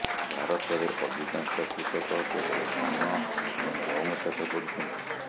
ଭାରତରେ ଅଧିକାଂଶ କୃଷକ କେବଳ ଧାନ ଏବଂ ଗହମ ଚାଷ କରୁଛନ୍ତି